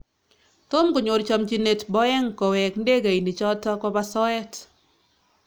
Tom konyor chamchinyet Boeng Koweek ndegeinik choto koba soet